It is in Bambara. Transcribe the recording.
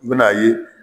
I bi n'a ye